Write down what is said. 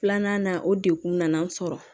Filanan na o degun nana n sɔrɔ